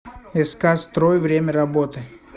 ск строй время работы